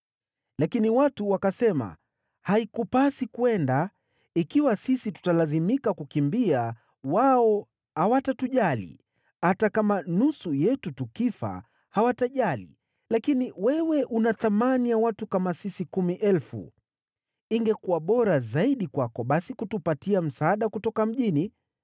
Lakini watu wakasema, “Haikupasi kwenda, ikiwa sisi tutalazimika kukimbia, wao hawatatujali. Hata kama nusu yetu tukifa hawatajali, lakini wewe una thamani ya watu kama sisi kumi elfu. Ingekuwa bora zaidi kwako basi kutupatia msaada kutoka mjini.”